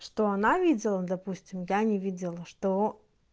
что она видела допустим я не видела что